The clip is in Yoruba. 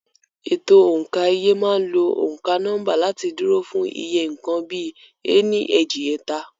Ètò òǹkà iye máa ń lo òǹkà nọ́mbà láti dúró fún iye nǹkan bíi "ení, èjì, ẹ̀ta".